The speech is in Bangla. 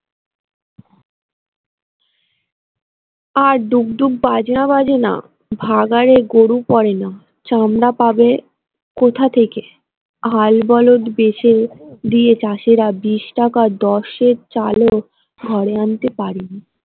আর ডুগ ডুগ বাজনা বাজেনা ভাগাড়ে গরু পড়েনা চামড়া ভাবে কোথা থেকে হাল বলদ বেঁচে দিয়ে চাষিরা টাকায় সের চালও ঘরে আনতে পারে নি।